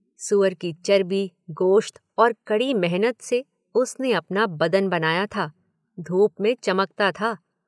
सूअर की चर्बी, गोश्त और कड़ी मेहनत से उसने अपना बदन बनाया था, धूप में चमकता था।